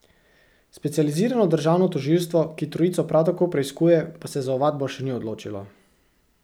Specializirano državno tožilstvo, ki trojico prav tako preiskuje, pa se za ovadbo še ni odločilo...